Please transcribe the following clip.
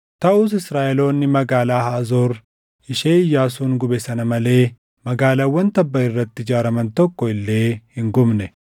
Taʼus Israaʼeloonni magaalaa Haazoor ishee Iyyaasuun gube sana malee magaalaawwan tabba irratti ijaaraman tokko illee hin gubne.